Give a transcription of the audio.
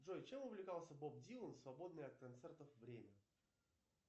джой чем увлекался боб дилан в свободное от концертов время